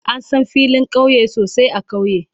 An san filin kauye sosai a kauye.